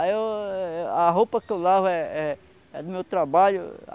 Aí eu eu eu... A roupa que eu lavo é é é do meu trabalho.